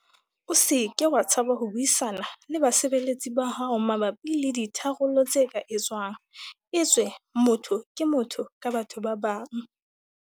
O se ke wa tshaba ho buisana le basebeletsi ba hao mabapi le ditharollo tse ka etswang, etswe motho ke motho ka batho ba bang.